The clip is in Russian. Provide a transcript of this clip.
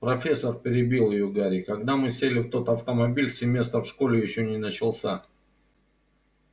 профессор перебил её гарри когда мы сели в тот автомобиль семестр в школе ещё не начался